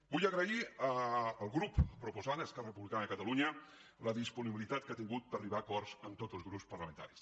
vull agrair al grup proposant a esquerra republicana de catalunya la disponibilitat que ha tingut per arribar a acords amb tots els grups parlamentaris